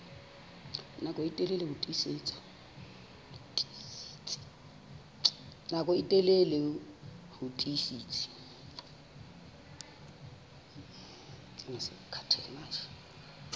nako e telele ho tiisitse